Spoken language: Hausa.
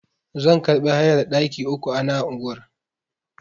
Zan karbi hayar ɗaki uku ana unguwar.